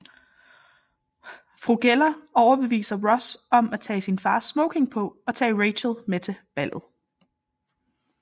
Fru Geller overbeviser Ross om at tage sin fars smoking på og tage Rachel med til ballet